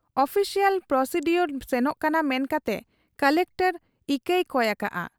Official procedure ᱥᱮᱱᱚᱜ ᱠᱟᱱᱟ ᱢᱮᱱᱠᱟᱛᱮ ᱠᱚᱞᱮᱠᱴᱚᱨ ᱤᱠᱟᱹᱭ ᱠᱚᱭ ᱟᱠᱟᱜ ᱟ ᱾